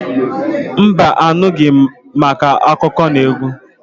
Mba anubeghi màkà akụkọnaegwu.